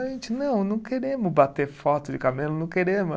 A gente, não, não queremos bater foto de camelo, não queremos.